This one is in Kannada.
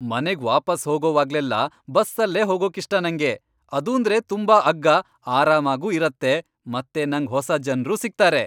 ಮನೆಗ್ ವಾಪಸ್ ಹೋಗೋವಾಗ್ಲೆಲ್ಲ ಬಸ್ಸಲ್ಲೇ ಹೋಗೋಕಿಷ್ಟ ನಂಗೆ. ಅದೂಂದ್ರೆ ತುಂಬಾ ಅಗ್ಗ, ಆರಾಮಾಗೂ ಇರತ್ತೆ ಮತ್ತೆ ನಂಗ್ ಹೊಸ ಜನ್ರೂ ಸಿಗ್ತಾರೆ.